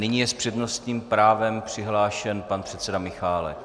Nyní je s přednostním právem přihlášen pan předseda Michálek.